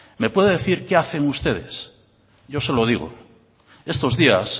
me puede decir qué hacen ustedes yo se lo digo estos días